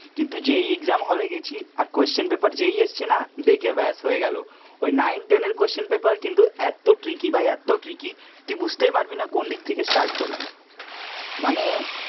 কিন্তু যেই exam hall গেছি আর কোশ্চেন পেপার যেই এসছে না, দেখে ব্যস হয়ে গেল, ওই নাইন টেন এর কোশ্চেন পেপার কিন্তু এত ট্রিকি ভাই এত ট্রিকি, তুই বুঝতেই পারবি না কোন দিক থেকে স্টার্ট করবি, মানে